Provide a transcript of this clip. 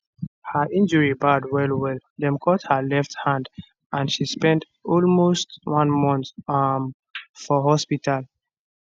her injury bad wellwell dem cut her left hand and she spend almost one month um for hospital